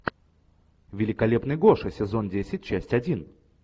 великолепный гоша сезон десять часть один